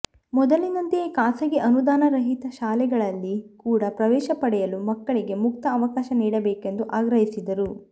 ಮೊದಲಿನಂತೆಯೇ ಖಾಸಗಿ ಅನುದಾನರಹಿತ ಶಾಲೆಗಳಲ್ಲಿ ಕೂಡ ಪ್ರವೇಶ ಪಡೆಯಲು ಮಕ್ಕಳಿಗೆ ಮುಕ್ತ ಅವಕಾಶ ನೀಡಬೇಕೆಂದು ಆಗ್ರಹಿಸಿದರು